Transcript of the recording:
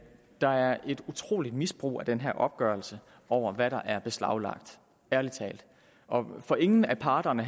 der er et utroligt misbrug af den her opgørelse over hvad der er beslaglagt ærlig talt for ingen af parterne